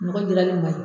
Nɔgɔ dilannen ma